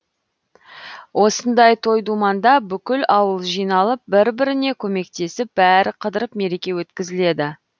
осындай той думанда бүкіл ауыл жиналып бір біріне көмектесіп бәрі қыдырып мереке өткізіледі